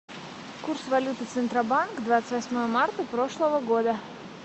курс валюты центробанк двадцать восьмого марта прошлого года